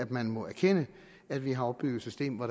man må erkende at vi har opbygget et system hvor